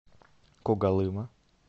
когалыма